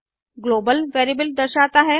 global variable दर्शाता है